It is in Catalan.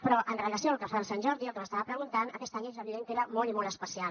però amb relació al que fa el sant jordi el que m’estava preguntant aquest any és evident que era molt i molt especial